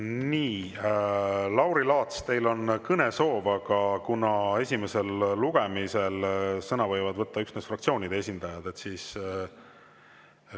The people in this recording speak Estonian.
Nii, Lauri Laats, teil on kõnesoov, aga kuna esimesel lugemisel võivad sõna võtta üksnes fraktsioonide esindajad, siis …